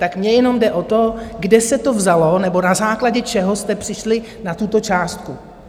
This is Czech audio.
Tak mně jenom jde o to, kde se to vzalo nebo na základě čeho jste přišli na tuto částku?